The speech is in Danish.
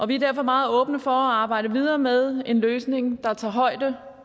vi er derfor meget åbne for at arbejde videre med en løsning der tager højde